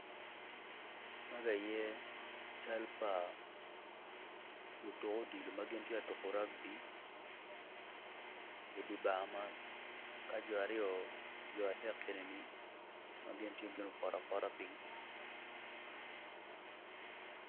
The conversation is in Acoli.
Magi aye cal pa lutuk odilo ma gin gitye ka tuko raugby i dye bar man ka jo adek ni gitye ma gupoto apota piny.